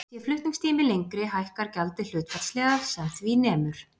Sé flutningstími lengri hækkar gjaldið hlutfallslega sem því nemur.